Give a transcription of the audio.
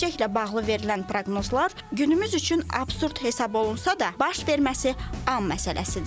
Gələcəklə bağlı verilən proqnozlar günümüz üçün absurd hesab olunsa da, baş verməsi an məsələsidir.